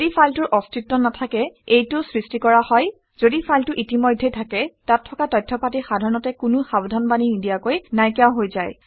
ঘদি ফাইলটোৰ অস্তিত্ব নাথাকে এইটো সৃষ্টি কৰা হয়। যদি ফাইলটো ইতিমধ্যেই থাকে তাত থকা তথ্য পাতি সাধাৰণতে কোনো সাৱধানবাণী নিদিয়াকৈ নাইকিয়া হৈ যায়